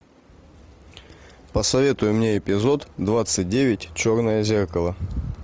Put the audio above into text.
посоветуй мне эпизод двадцать девять черное зеркало